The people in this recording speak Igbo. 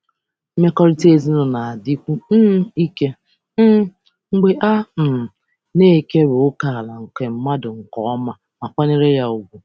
Nso ezinụlọ na-enwe ike mgbe a kọwapụtara ma sọpụrụ ókè nke ọma.